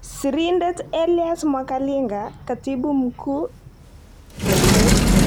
Siridet Elius Mwakalinga Katibu Mkuu Tekset.